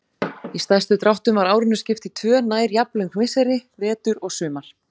Í stærstu dráttum var árinu skipt í tvö nær jafnlöng misseri: Vetur og sumar.